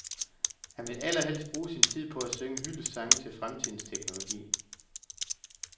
Han vil allerhelst bruge sin tid på at synge hyldestsange til fremtidens teknologi.